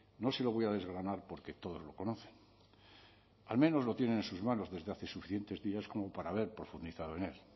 no se lo voy a desgranar porque todos lo conocen al menos lo tienen en sus manos desde hace suficientes como para haber profundizado en él